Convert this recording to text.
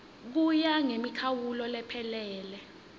kuya ngemikhawulo lephelele